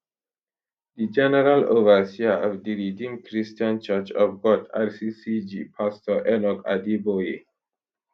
di general overseer of di redeemed christian church of god rccg pastor enoch adeboye